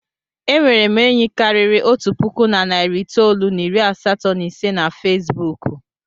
E nwere m enyi karịrị otu puku na narị itoolu na iri asatọ na ise na Fesbuku.